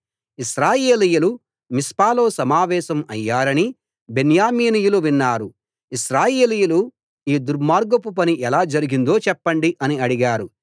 ఇశ్రాయేలీయులు మిస్పాలో సమావేశం అయ్యారని బెన్యామీనీయులు విన్నారు ఇశ్రాయేలీయులు ఈ దుర్మార్గపు పని ఎలా జరిగిందో చెప్పండి అని అడిగారు